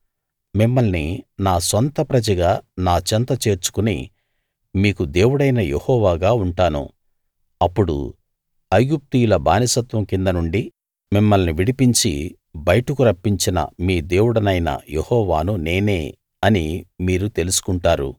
మిమ్మల్ని నా సొంత ప్రజగా నా చెంత చేర్చుకుని మీకు దేవుడైన యెహోవాగా ఉంటాను అప్పుడు ఐగుప్తీయుల బానిసత్వం కింద నుండి మిమ్మల్ని విడిపించి బయటకు రప్పించిన మీ దేవుడనైన యెహోవాను నేనే అని మీరు తెలుసుకుంటారు